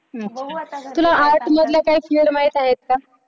हम्म तुला arts मधल्या काही माहित आहेत का?